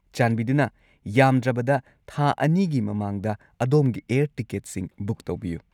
ꯆꯥꯟꯕꯤꯗꯨꯅ ꯌꯥꯝꯗ꯭ꯔꯕꯗ ꯊꯥ ꯲ꯒꯤ ꯃꯃꯥꯡꯗ ꯑꯗꯣꯝꯒꯤ ꯑꯦꯌꯔ ꯇꯤꯀꯦꯠꯁꯤꯡ ꯕꯨꯛ ꯇꯧꯕꯤꯌꯨ꯫